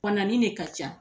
Banani de ka ca